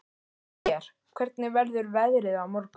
Lér, hvernig verður veðrið á morgun?